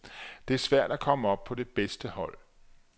Det er svært at komme på det bedste hold.